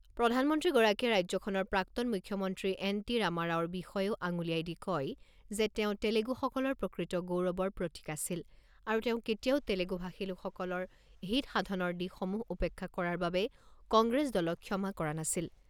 প্ৰধানমন্ত্ৰীগৰাকীয়ে ৰাজ্যখনৰ প্ৰাক্তন মুখ্যমন্ত্ৰী এন টি ৰামাৰাওৰ বিষয়ে আঙুলিয়াই দি কয় যে তেওঁ তেলেগুসকলৰ প্ৰকৃত গৌৰৱৰ প্ৰতীক আছিল আৰু তেওঁ কেতিয়াও তেলেগু ভাষী লোকসকলৰ হিত সাধনৰ দিশসমূহ উপেক্ষা কৰাৰ বাবে কংগ্ৰেছ দলক ক্ষমা কৰা নাছিল।